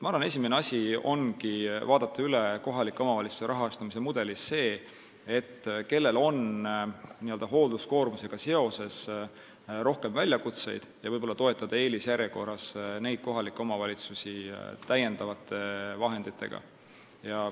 Ma arvan, et esimene asi ongi vaadata kohalike omavalitsuste rahastamise mudelis üle see, kellel on n-ö hoolduskoormusega seoses rohkem probleeme ja võib-olla eelisjärjekorras toetada neid kohalikke omavalitsusi täiendavate vahenditega.